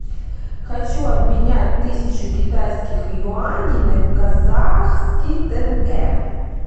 хочу обменять тысячу китайских юаней на казахский тенге